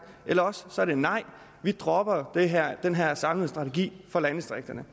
eller også er det nej vi dropper den her samlede strategi for landdistrikterne